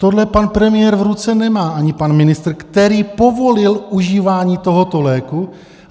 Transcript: Tohle pan premiér v ruce nemá, ani pan ministr, který povolil užívání tohoto léku.